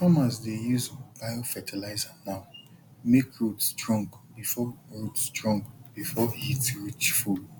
farmers dey use biofertilizer now make root strong before root strong before heat reach full